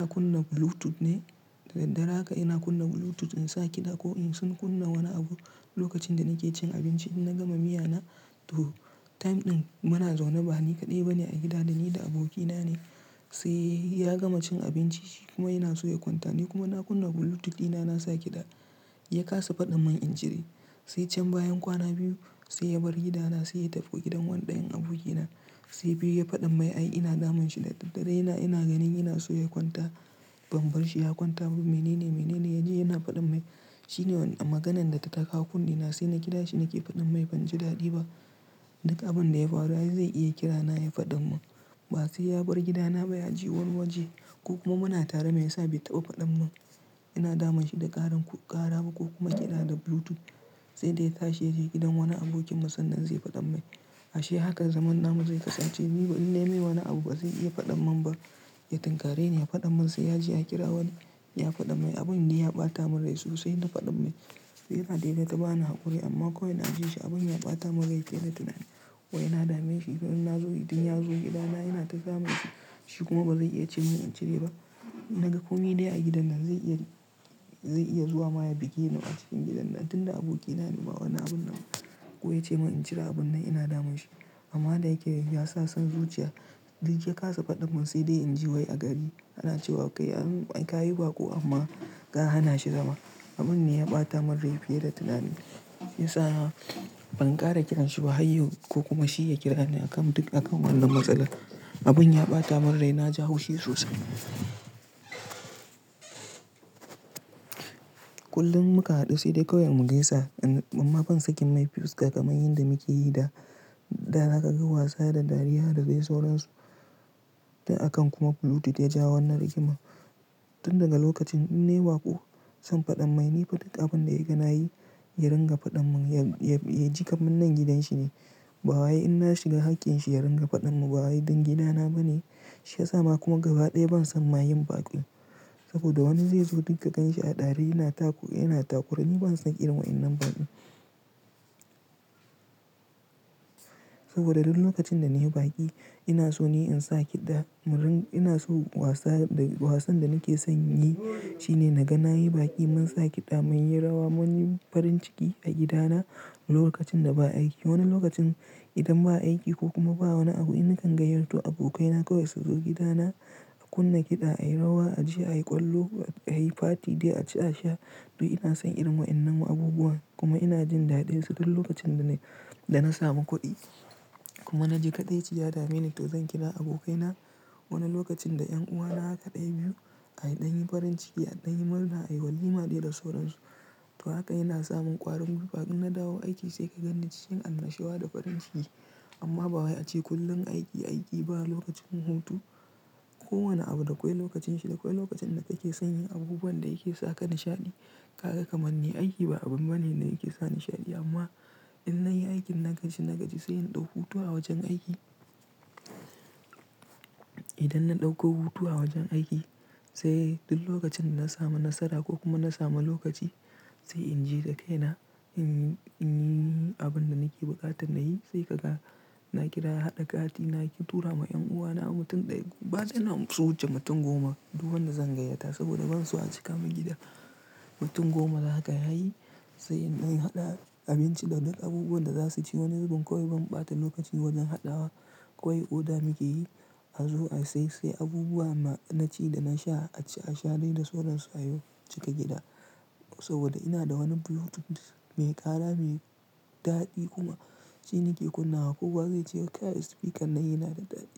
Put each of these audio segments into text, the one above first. Ina kunna Bluetooth ne da daddare haka ina kunna Bluetooth insa kiɗa ko in sun kunna wani abu lokacin da nake cin abinci idan na gama miyana to time ɗin bana zaune ba ni kaɗai bane a gida dani da abokina ne saiya gama cin abinci shi kuma yanaso ya kwanta ni kuma na kunna Bluetooth dina nasa kiɗa ya kasa faɗimun in cire sai can bayan kwana biyu sai ya bar gidana sai ya tafi gidan wani ɗayan abokina saifa ya faɗa mai ai ina damun shi da daddare ina, ina ganin yanaso ya kwanta ban barshi ya kwanta ba. Menene, menene ya je yana faɗan mai shine maganan da ta kawo kunne na sai na kira shi nake faɗan mai banji daɗi ba duk abun da ya faru ai zai iya kira na yayi faɗamun ba sai ya bar gidana ba ya ji wani waje ko kuma muna tare me yasa bai taɓa faɗamun? Ina damun shi da ƙarin ƙara ba ko kuma yana da Bluetooth sai dai ta sheje gidan wani abokinmu sannan zai faɗan mai ashe haka zaman namu zai kasance ni in nemi wani abu ba zai iya faɗan mun ba. Ya tunkarar da yana faɗan mun sai ya je ya kira wani ya faɗan mai abun ne ya ɓata mun rai sosai na faɗan mai sai yana daina ta bani haƙuri amma kawai na ji shi abun ya ɓata mun rai fiye da tunani wai ina dame shi idan na zo don ya zo gidana ina ta damunshi, shi kuma ba zai iya ce min in cire ba. Na ga komi dai a gidan nan zai iya, zai iya zuwa maya bige ni a cikin gidan nan tun da abokina ne bawai wani abun nan ko ya ce min in cire abun nan ina damun shi amma da yake yayi ya sa son zuciya duk ya kasa faɗan mun sai dai in ji wai a gari ana cewa kai an ka yi baƙo amma ka hana shi zama abun ne ya ɓata mun rai fiye da tunani ya sa ban ƙara kiranshi ba har yau ko kuma shi ya kira ni a kan duk a kan wannan matsala abun ya ɓata mun rai na ji hushi sosai. Kullum muka haɗu sai dai kawai mu gaisa amma ban saki mai fuska kamar yanda muke yi da, da zaka ka ga wasa da dariya da dai sauransu. Da a kan kuma Bluetooth ya ja wannan rigima tun daga lokacin in ne baƙo. Son faɗan mai ne faɗin abu da ya gani yarin ga faɗan mun ya ji kaman nan gidanshi ne. Ba wai in na shiga haƙƙin shi ya ringa faɗan mu ba wai ɗan gidana bane shiyasa ma kuma gaba ɗaya ban san ma yin baƙin saboda wani zai zo dukka kanshi a ɗare yana tako, yana takure ni ban san irin wa innan baƙin saboda duk lokacin da na yi baƙi ina so ne in sa kiɗa mun rin, ina so wasa da wasan da nake son yi shine na ga na yi baƙi mun sa kiɗa munyi rawa munyi farin ciki a gida na lokacin da ba aiki. Wani lokacin idan ba aiki ko kuma ba wani abu ina kan gayyato abokaina kawai su zo gida na a kunna kiɗa, a yi rawa, a je a yi ƙwallo, a yi fati dai a ci a sha. To ina son irin wa in nan ma abubuwa kuma ina jin daɗinsu duk lokacin da na da na samu kuɗi kuma na ji kaɗaici ya dameni to zan kira abokaina. Wani lokacin da 'yan uwana haka ɗaya biyu aɗan yin farin ciki aɗan yi murna ayi walima dai da sauransu. To haka yana samun ƙwarin gwiwa in na dawo aiki sai ka gan ni cikin annashuwa da farin ciki amma ba wai ace kullum aiki, aiki ba lokacin hutu. Ko wane abu da kwai lokacin shi da kwai lokacin da kake son yin abubuwan da yake saka nishaɗi. Kaga kamar ne aiki ba abun bane da yake sa nishaɗi amma in na yi aikin nagaji nagaji sai in ɗau hutu a wajen aiki. Idan na ɗauko hutu a wajen aiki sai duk lokacin da na samu nasara ko kuma na samu lokaci sai in je da kaina in, in yi abun da nake buƙatan na yi sai kaga na kira haɗa kati na tura ma en'uwa na mutum ɗaya ko ba dai na su wuce mutum goma. Duk wanda zan gayyata saboda ban so a cika mun gida. Mutum goma haka yayi sai in ɗan haɗa abinci da duk abubuwan da za su ci. Wani zubin kawai ban ɓata lokaci wajen haɗawa kawai oda nike yi a zo a sai sai abubuwa na ci da na sha a ci a sha dai da sauransu a yau cika gida saboda ina da wani Bluetooth mai ƙara mai daɗi kuma shi nake kunna wa kowa zai ce kai speaker na yana da daɗi.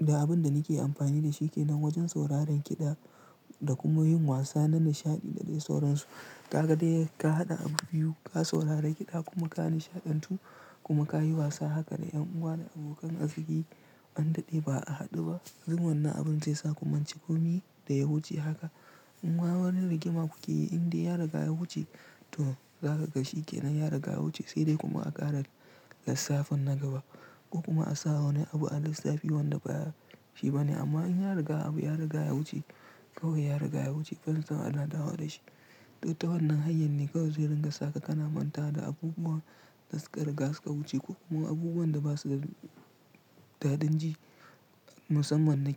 Da abun da nake amfani da shi kenan wajen sauraron kiɗa da kuma yin wasa na nishaɗi da dai sauransu. Ka ga dai ka haɗa abu biyu ka saurari kiɗa kuma ka nishaɗantu kuma ka yi wasa haka da en'uwa da abokan arziki an daɗe ba a haɗu ba. Dun wannan abun zai sa ku mance komi da ya wuce haka. In ma wani rigima kuke yi in dai ya riga ya wuce to zaka ga shi kenan ya riga wuce sai dai kuma a ƙara lissafin na gaba ko kuma a sa wani abu a lissa fi wanda ba shi bane amma in ya riga abu ya riga ya wuce kawai ya riga ya wuce banson ana dawo da shi. To ta wannan hanyar ne kawai zai ringa saka kana mantawa da abubuwa da suka riga suka wuce ko kuma abubuwan da basu da, daɗin ji musamman na.